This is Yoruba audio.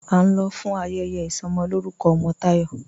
́A ń lọ̀ fún ayẹyẹ isọmọlọ̀rùkọ̀ ọmọ Tayọ́.